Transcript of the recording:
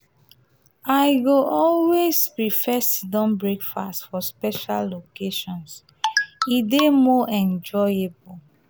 i go always prefer sit-down breakfast for special occasions; e dey more enjoyable.